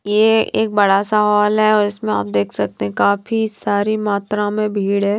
ये एक बड़ा सा हॉल है उसमें आप देख सकते हैं काफी सारी मात्रा में भीड़ है।